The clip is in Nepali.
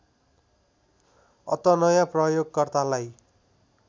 अत नयाँ प्रयोगकर्तालाई